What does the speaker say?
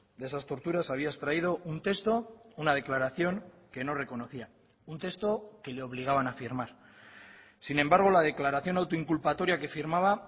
de esas torturas había extraído un texto una declaración que no reconocía un texto que le obligaban a firmar sin embargo la declaración autoinculpatoria que firmaba